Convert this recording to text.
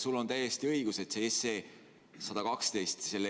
Sul on täiesti õigus, et eelnõu 112 versioon